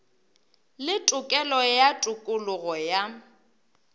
le tokelo ya tokologo ya